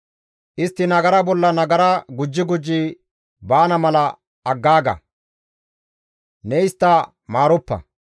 Istti nagara bolla nagara gujji gujji baana mala aggaaga; ne istta maaroppa.